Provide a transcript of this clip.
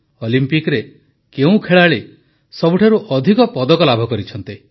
ଅଲିମ୍ପିକରେ କେଉଁ ଖେଳାଳି ସବୁଠାରୁ ଅଧିକ ପଦକ ଲାଭ କରିଛନ୍ତି